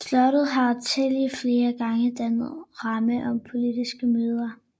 Slottet har tillige flere gange dannet ramme om politiske møder